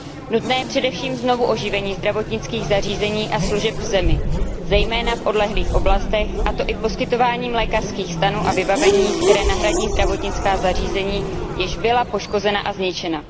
Nutné je především znovuoživení zdravotnických zařízení a služeb v zemi, zejména v odlehlých oblastech, a to i poskytováním lékařských stanů a vybavení, které nahradí zdravotnická zařízení, jež byla poškozena a zničena.